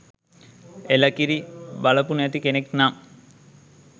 එළ කිරි! බලපු නැති කෙනෙක් නම්